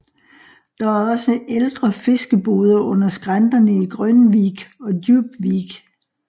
Der er også ældre fiskeboder under skrænterne i Grönvik og Djupvik